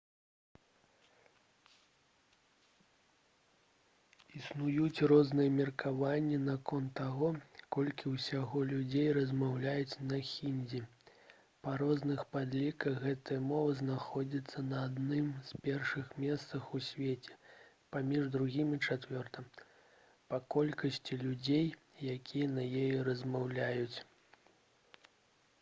існуюць розныя меркаванні наконт таго колькі ўсяго людзей размаўляюць на хіндзі. па розных падліках гэтая мова знаходзіцца на адным з першых месцаў у свеце паміж другім і чацвёртым па колькасці людзей якія на ёй размаўляюць